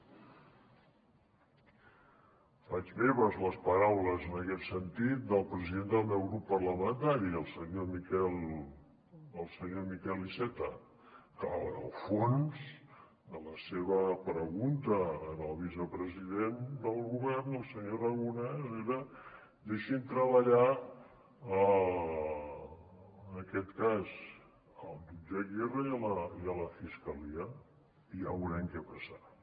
faig meves les paraules en aquest sentit del president del meu grup parlamentari el senyor miquel iceta que el fons de la seva pregunta al vicepresident del govern el senyor aragonès era deixin treballar en aquest cas el jutge aguirre i la fiscalia i ja veurem què passarà